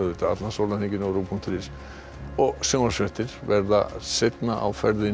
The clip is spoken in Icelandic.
allan sólarhringinn á punktur is sjónvarpsfréttir verða seinna á ferðinni